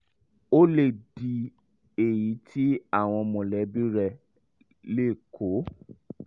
ó lè di èyí tí àwọn mọ̀lẹ́bí rẹ̀ lè kó